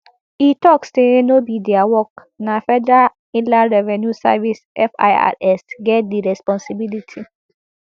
e tok say no be dia work na federal inland revenue service firs get di responsibility